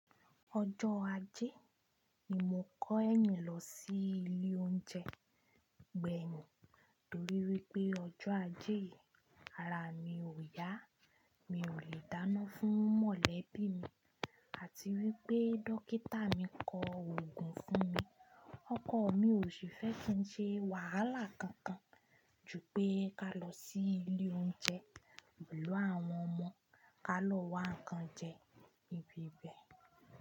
Ọjọ́ ajé ni mo kọ ẹni lọ sí ilé oúnjẹ gbẹ̀yìn nítorí wípé ọjọ́ ajé yí ara mi ò yá, mi ò lè dáná fún mọ̀lẹ́bí mi àti wípé dókítà mi kọ òògùn fún mi. Ọkọ mi ò sì fẹ́ kí ń ṣe wàhálà kankan ju pé ká lọ sí ilé oúnjẹ pẹ̀lú àwọn ọmọ ká lọ wá ń kan jẹ nibi ibẹ̀.